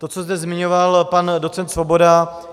To, co zde zmiňoval pan docent Svoboda.